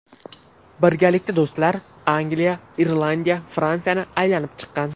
Birgalikda do‘stlar Angliya, Irlandiya, Fransiyani aylanib chiqqan.